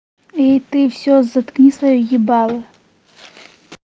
и ты всё заткни своё ебало